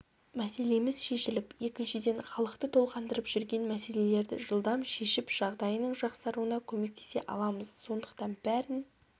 мәселеміз шешіліп екіншіден халықты толғандырып жүрген мәселелерді жылдам шешіп жағдайының жақсаруына көмектесе аламыз сондықтан бәрін